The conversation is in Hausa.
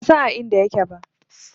Ban san a inda yake ba.